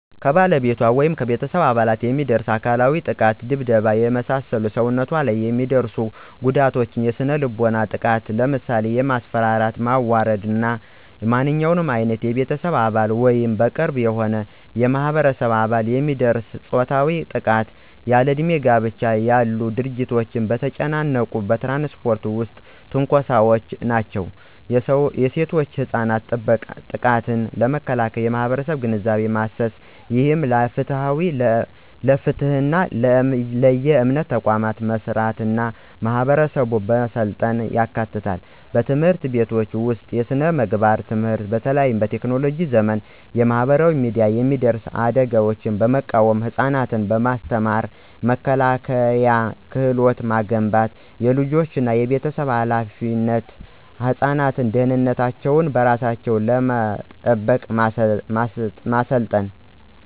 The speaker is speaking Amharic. ከባለቤቷ ወይም ከቤተሰብ አባል የሚደርስ አካላዊ ጥቃት የድብደባ፣ የመሳሰሉ ሰውነት ላይ የሚደርሱ ጉዳቶች። የስነ-ልቦናዊ ጥቃት ለምሳሌ የማስፈራራት፣ ማዋረድ እና ማንኛውም ዓይነት በቤተሰብ አባል ወይም በቅርብ የሆነ የማህበረሰብ አባል የሚደርስ ፆታዊ ጥቃት። ያለእድሜ ጋብቻ ያሉ ድርጊቶች። በተጨናነቁ በትራንስፖርት ውስጥ ትንኮሳዎች ናቸው። የሴቶችና ህጻናት ጥቃትን ለመከላከል የማህበረሰብ ግንዛቤ ማሰስ፣ ይህም ለፍትህና ለየእምነት ተቋማት መስራትና ማህበረሰቡን ማሰልጠን ያካትታል። በትምህርት ቤቶች ውስጥ የስነ-ምግባር ትምህርት በተለይ በቴክኖሎጂ ዘመን በማህበራዊ ሚዲያ የሚደርሱ አደጋዎችን በመቃወም ህፃናትን በማስተማር የመከላከያ ክህሎት መገንባት። · የወላጆችና የቤተሰብ ኃላፊነት ህፃናትን ደህንነታቸውን በራሳቸው ለመጠበቅ ማሰልጠን።